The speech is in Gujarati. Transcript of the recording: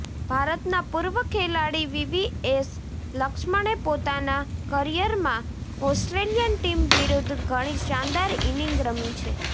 ભારતના પૂર્વ ખેલાડી વીવીએસ લક્ષ્મણે પોતાના કરિયરમાં ઓસ્ટ્રેલિયન ટીમ વિરુદ્ધ ઘણી શાનદાર ઈનિંગ રમી છે